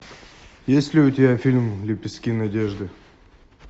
есть ли у тебя фильм лепестки надежды